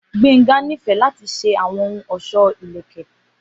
Gbenga nifẹ lati ṣe awọn ohun ọṣọ ilẹkẹ